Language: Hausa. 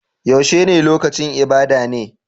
Yaushe ne lokacin ibada ne?